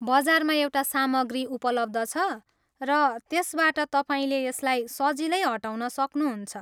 बजारमा एउटा सामग्री उपलब्ध छ, र त्यसबाट तपाईँले यसलाई सजिलै हटाउन सक्नुहुन्छ।